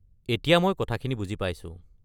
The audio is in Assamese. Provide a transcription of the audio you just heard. এতিয়া মই কথাখিনি বুজি পাইছো।